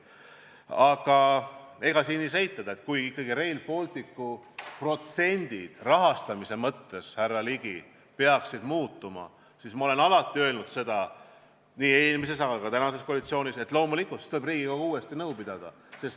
Aga ei saa eitada, et kui ikkagi Rail Balticu protsendid rahastamise mõttes, härra Ligi, peaksid muutuma, siis ma olen alati öelnud, nii eelmises kui ka tänases koalitsioonis, et loomulikult tuleb siis Riigikogus uuesti nõu pidada.